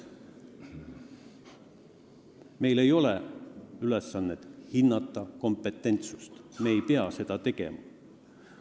Meil ei ole ülesannet hinnata kompetentsust, me ei pea seda tegema.